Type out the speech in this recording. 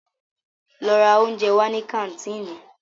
Lọ ra óúnjẹ wá ní kàńtìnì!